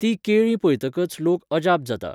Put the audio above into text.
तीं केळीं पयतकच लोक अजाप जाता.